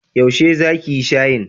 Yaushe za ki yi shayin?